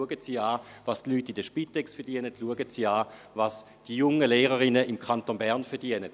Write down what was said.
Schauen Sie an, was die Leute in der Spitex verdienen und was die jungen Lehrerinnen im Kanton Bern verdienen.